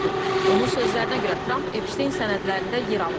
Onun sözlərinə görə Tramp Epstein sənədlərində yer alıb.